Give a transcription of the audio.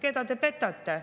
Keda te petate?